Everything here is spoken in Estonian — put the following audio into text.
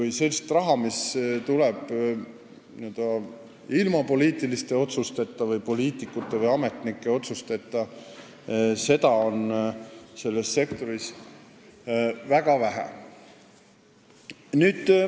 Ehk sellist raha, mis tuleb ilma poliitiliste otsusteta, poliitikute või ametnike otsusteta, on selles sektoris väga vähe.